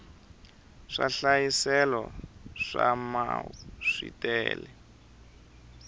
swihlayiselo swa mau swi tele